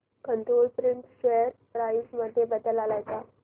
control print share price मध्ये बदल आलाय का